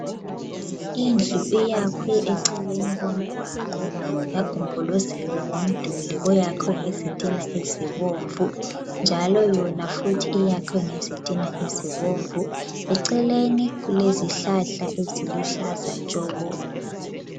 Indlu iyakhwe eceleni komgwaqo yagombolozelwa ngomduli oyakhwe ngezitina ezibomvu njalo yona futhi iyakhwe ngezitina ezibomvu eceleni kulezihlahla eziluhlaza tshoko.